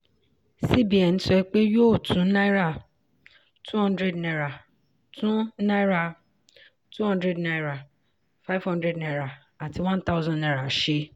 cbn sọ pé yóò tún náírà #200 tún náírà #200 #500 àti #1000 ṣe.